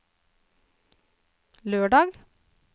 lørdag